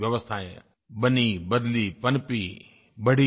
व्यवस्थायें बनीं बदलीं पनपीं बढ़ीं